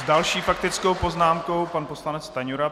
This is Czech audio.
S další faktickou poznámkou pan poslanec Stanjura.